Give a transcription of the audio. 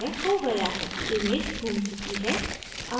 और यह हो गया है image घूम चुकी है